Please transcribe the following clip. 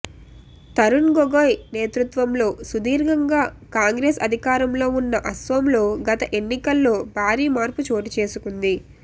తరుణ్ గొగోయ్ నేతృత్వంలో సుదీర్ఘంగా కాంగ్రెస్ అధికారంలో ఉన్న అసోంలో గత ఎన్నికల్లో భారీ మార్పు చోటుచేసుకుంది